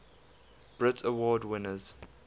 brit award winners